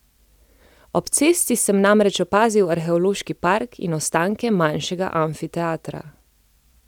Ob cesti sem namreč opazil arheološki park in ostanke manjšega amfiteatra.